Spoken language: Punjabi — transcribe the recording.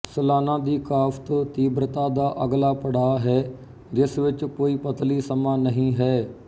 ਸਲਾਨਾ ਦੀ ਕਾਸ਼ਤ ਤੀਬਰਤਾ ਦਾ ਅਗਲਾ ਪੜਾਅ ਹੈ ਜਿਸ ਵਿੱਚ ਕੋਈ ਪਤਲੀ ਸਮਾਂ ਨਹੀਂ ਹੈ